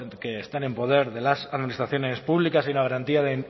que están en poder de las administraciones públicas haya una garantía de